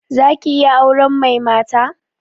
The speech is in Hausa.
Za ki iya auren mai mata?